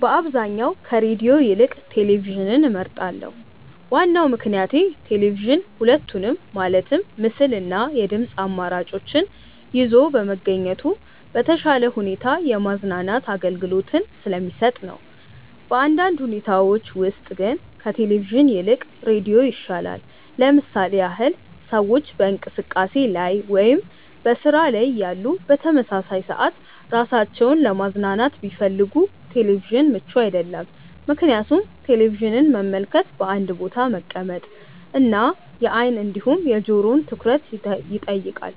በአብዛኛው ከሬድዮ ይልቅ ቴሌቪዥንን እመርጣለሁ። ዋናው ምክንያቴ ቴሌቪዥን ሁለቱንም ማለትም ምስል እና የድምጽ አማራጮችን ይዞ በመገኘቱ በተሻለ ሁኔታ የማዝናናት አገልግሎትን ስለሚሰጥ ነው። በአንዳንድ ሁኔታዎች ውስጥ ግን ከቴሌቪዥን ይልቅ ሬዲዮ ይሻላል። ለምሳሌ ያህል ሰዎች በእንቅስቃሴ ላይ ወይም በስራ ላይ እያሉ በተመሳሳይ ሰዓት ራሳቸውን ለማዝናናት ቢፈልጉ ቴሌቪዥን ምቹ አይደለም፤ ምክንያቱም ቴሌቪዥንን መመልከት በአንድ ቦታ መቀመጥ እና የአይን እንዲሁም የጆሮውን ትኩረት ይጠይቃል።